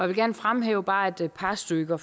vil gerne fremhæve bare et par stykker